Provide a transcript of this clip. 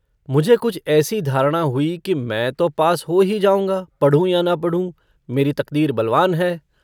मुझे कुछ ऐसी धारणा हुई कि मैं तो पास हो ही जाऊँगा, पढ़ूँ या न पढ़ूँ। मेरी तकदीर बलवान है।